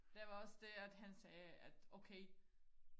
der var også det at han sagde at okay